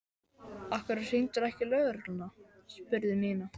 Af hverju hringdirðu ekki í lögregluna? spurði Nína.